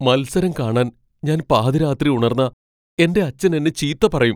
മത്സരം കാണാൻ ഞാൻ പാതിരാത്രി ഉണർന്നാ എന്റെ അച്ഛൻ എന്നെ ചീത്ത പറയും.